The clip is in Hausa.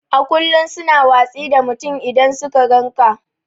A ƙullum su na watsi da mutum idan suka gan ƙa.